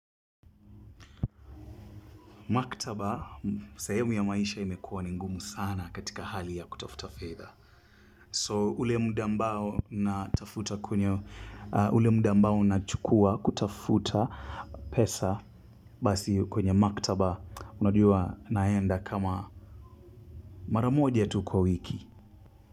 Maktaba sehumu ya maisha imekuwa ni ngumu sana katika hali ya kutafuta fedha. So ule muda ambao natafuta kunyo ule muda ambao nachukua kutafuta pesa basi kwenye maktaba unajua naenda kama mara moja tu kwa wiki.